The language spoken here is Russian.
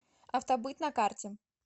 автобыт на карте